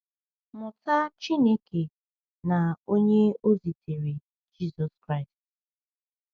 Mụta Chineke na Onye o zitere, Jizọs Kraịst.